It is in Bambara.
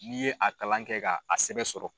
N'i ye a kalan kɛ ka a sɛbɛn sɔrɔ